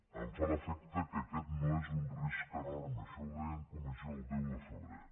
em fa l’efecte que aquest no és un risc enorme això ho deia en comissió el deu de febrer